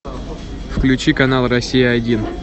включи канал россия один